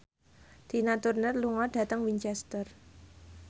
Tina Turner lunga dhateng Winchester